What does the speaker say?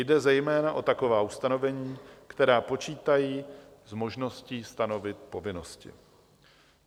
Jde zejména o taková ustanovení, která počítají s možností stanovit povinnosti.